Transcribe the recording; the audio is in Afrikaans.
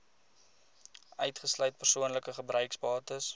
uitgesluit persoonlike gebruiksbates